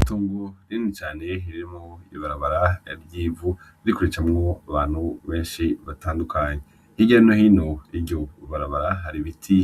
Itongo rinini cane ririmwo ibarabara ry'ivu, riko ricamwo abantu benshi batandukanye, hirya no hino y'iryo barabara hari ibiti